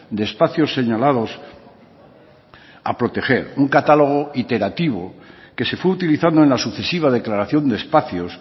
de espacios señalados a proteger un catálogo iterativo que se fue utilizando en la sucesiva declaración de espacios